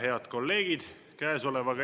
Head kolleegid!